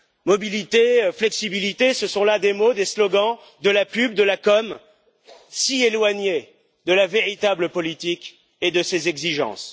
Mobilité, flexibilité, ce sont là des mots, des slogans, de la pub, de la com, si éloignés de la véritable politique et de ses exigences.